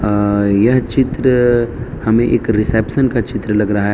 अ यह चित्र हमें एक रिसेप्शन का चित्र लग रहा --